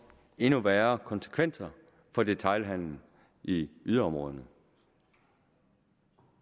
endnu værre konsekvenser for detailhandelen i yderområderne